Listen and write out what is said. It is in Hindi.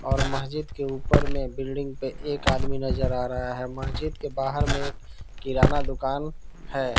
और मस्जिद के ऊपर में बिल्डिंग पे एक आदमी नजर आ रहा है मस्जिद के बाहर में एक किराना दुकान है।